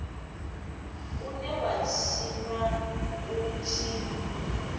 une wa tshinwa hu tshi